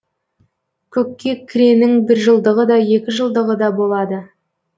көккекіренің біржылдығы да екіжылдығы да болады